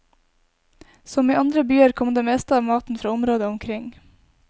Som i andre byer kom det meste av maten fra området omkring.